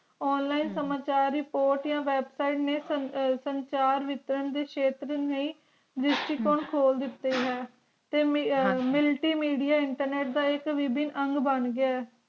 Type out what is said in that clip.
online ਹਮ ਸਮਾਜ ਦਰ ਰਿਪੋਰਟ ਯਾ website ਨਾ ਨਹੀ ਦਾਤੀ ਤਾ ਆ ਹਨ ਜੀ ਮੇਲ੍ਤੀ media internet ਖੋਲ ਦਿਤਾ ਆ